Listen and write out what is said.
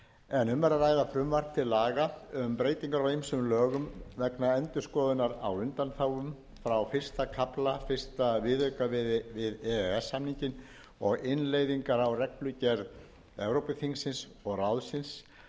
en um er að ræða frumvarp til laga um um breytingar á ýmsum lögum vegna endurskoðunar á undanþágum frá fyrsta kafla fyrsta viðauka við e e s samninginn og innleiðingar á reglugerð evrópuþingsins og ráðsins númer